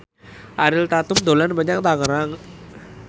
Ariel Tatum dolan menyang Tangerang